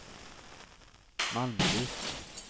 Malmqvist